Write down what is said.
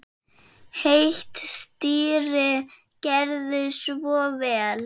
Heitt stýri, gerið svo vel.